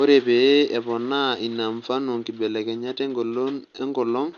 Ore epee eponaa ina mfano nkibelekenyat engolon enkolong